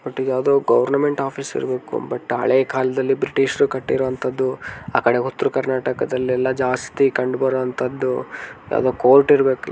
ಇದು ಯಾವುದೋ government office ಇರಬೇಕು ಬಟ್ ಹಳೇ ಕಾಲದಲ್ಲಿ ಬ್ರಿಟಿಷರ್ ಕಟ್ಟಿರುವಂತಹದು ಆ ಕಡೆ ಉತ್ತರ ಕರ್ನಾಟಕದಲ್ಲೆಲ್ಲಾ ಜಾಸ್ತಿ ಕಂಡುಬರುವಂತಹದು ಯಾವುದೋ ಕೋರ್ಟ್ ಇರಬೇಕು.